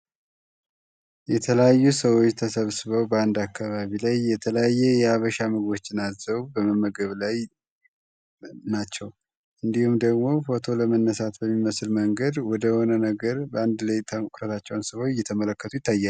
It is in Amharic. የተለያዩ ሰዎኦች ተሰብስበው ባንዳ አካባቢ ላይ የተለያየ የሀበሻ ምግቦች አዝዘው እየተመገቡ ናቸው። እንዲሁም ደግሞ ፎቶ ለመነሳት በሚመስል መንገድ ወደሆነ ነገር በአንድ ላይ እየተመለከቱት ይታያሉ።